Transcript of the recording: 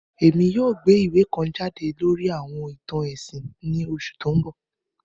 Èmi yoo gbé ìwé kan jade lórí àwọn ìtàn ẹ̀sìn ni oṣù to n bọ